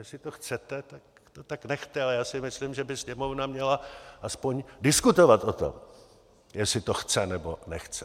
Jestli to chcete, tak to tak nechte, ale já si myslím, že by Sněmovna měla aspoň diskutovat o tom, jestli to chce, nebo nechce.